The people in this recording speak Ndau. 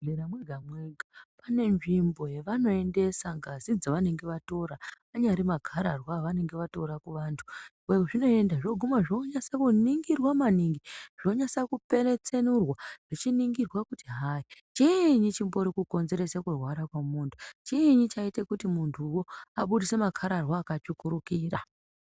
Muzvibhedhlera mwega mwega pane nzvimbo yavanoendeaa ngazi dzavanenge vatora anyari makararwa avanenge vatora kuvantu kwazvinoenda zvonyasa kuningirwa maningi zvonyasa kupetsenurwa zvichiningirwa kuti hai chinyi chimbori kukodzeresa kurwara kwemunhu chinyi chaita kuti muntuwo abudise makararwa akatsvukira.